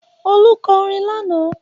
Olú kọ orin lánàá.